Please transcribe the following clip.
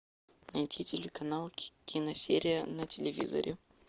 найти телеканал киносерия на телевизоре